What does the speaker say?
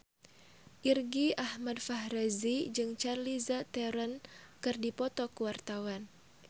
Irgi Ahmad Fahrezi jeung Charlize Theron keur dipoto ku wartawan